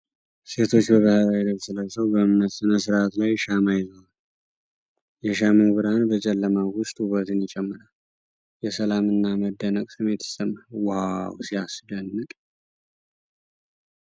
ሴቶች በባህላዊ ነጭ ልብስ ለብሰው በእምነት ሥነ ሥርዓት ላይ ሻማ ይዘዋል ። የሻማው ብርሃን በጨለማው ውስጥ ውበትን ይጨምራል ። የሰላምና የመደነቅ ስሜት ይሰማል ። ዋው ሲያስደንቅ !